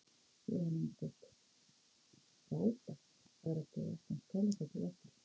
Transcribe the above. Jóhanna Margrét: Frábært að vera búið að opna Skálafelli aftur?